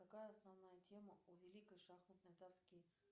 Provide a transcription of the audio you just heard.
какая основная тема у великой шахматной доски